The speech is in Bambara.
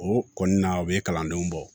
O kɔni na u bɛ kalandenw bɔ